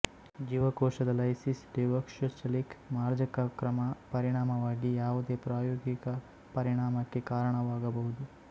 ಜೀವಕೋಶದ lysis deoxycholic ಮಾರ್ಜಕ ಕ್ರಮ ಪರಿಣಾಮವಾಗಿ ಯಾವುದೇ ಪ್ರಾಯೋಗಿಕ ಪರಿಣಾಮಕ್ಕೆ ಕಾರಣವಾಗಬಹುದು